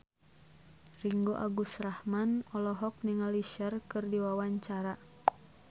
Ringgo Agus Rahman olohok ningali Cher keur diwawancara